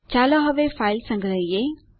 ચાલો હવે ફાઈલ સંગ્રહીયે